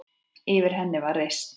Yfir henni var reisn.